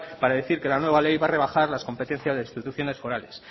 para decir que la nueva ley va a rebajar las competencias de instituciones forales